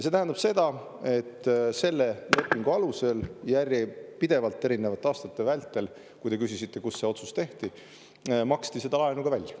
See tähendab seda, et selle lepingu alusel järjepidevalt erinevate aastate vältel – te küsisite, kus see otsus tehti – maksti seda laenu ka välja.